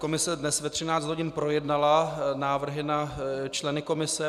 Komise dnes ve 13 hodin projednala návrhy na členy komise.